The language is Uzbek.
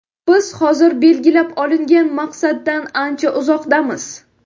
Biz hozir belgilab olingan maqsaddan ancha uzoqdamiz.